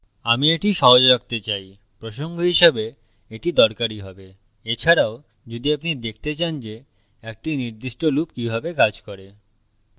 আমি এটি সহজ রাখতে চাই প্রসঙ্গ হিসাবে এটি দরকারী হবে এছাড়াও যদি আপনি দেখতে চান যে একটি নির্দিষ্ট loop কিভাবে কাজ করে